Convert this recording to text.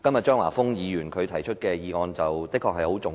張華峰議員今天提出的議案的確很重要。